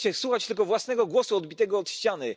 Chcecie słuchać tylko własnego głosu odbitego od ściany.